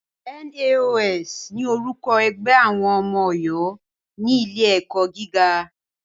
NAOS ni orúkọ ẹgbẹ́ àwọn ọmọ Ọ̀yọ́ ní ilé ẹ̀kọ́ gíga.